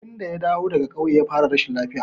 Tun da ya dawo daga ƙauye ya fara rashin lafiya.